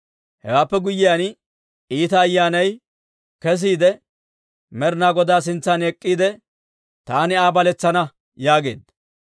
Hewaappe guyyiyaan iita ayyaanay kesiide Med'inaa Godaa sintsan ek'k'iide, ‹Taani Aa baletsana› yaageedda.